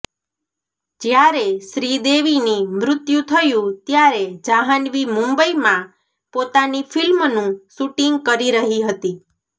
જયારે શ્રીદેવીની મૃત્યુ થયું ત્યારે જાન્હવી મુંબઈમાં પોતાની ફિલ્મનું શૂટિંગ કરી રહી હતી